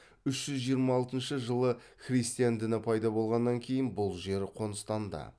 үш жүз жиырма алтыншы жылы христиан діні пайда болғаннан кейін бұл жер қоныстанды